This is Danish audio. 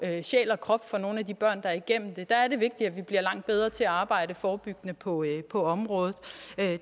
sjæl og krop for nogle af de børn der er igennem det der er det vigtigt at vi bliver langt bedre til at arbejde forebyggende på på området